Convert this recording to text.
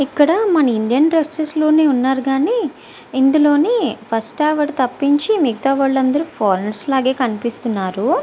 ఇక్కడ మన Indian dresses లోనే ఉన్నారు గానీ . ఇందులోని ఫస్ట్ ఆవిడ తప్పించి మిగితా వాళ్ళు అందరు ఫార్నర్స్ లగే కనిపిస్తున్నారు.